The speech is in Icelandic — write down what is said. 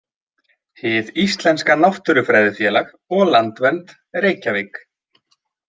Hið íslenska náttúrufræðifélag og Landvernd, Reykjavík.